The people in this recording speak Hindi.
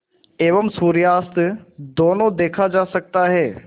एवं सूर्यास्त दोनों देखा जा सकता है